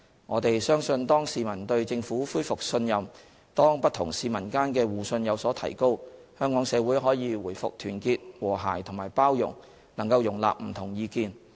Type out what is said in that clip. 我們相信當市民對政府恢復信任、當不同市民間的互信有所提高，香港社會可以回復團結、和諧和包容，能夠容納不同意見。